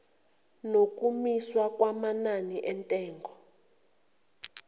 nokumiswa kwamanani entengo